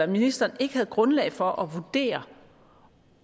ministeren ikke havde grundlag for at vurdere